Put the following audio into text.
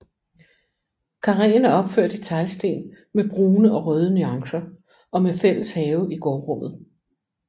Karreen er opført i teglsten med brune og røde nuancer og med fælles have i gårdrummet